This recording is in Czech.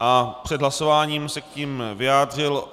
a před hlasováním se k nim vyjádřil.